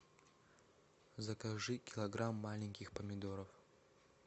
закажи килограмм маленьких помидоров